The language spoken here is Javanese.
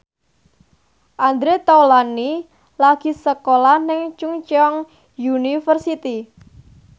Andre Taulany lagi sekolah nang Chungceong University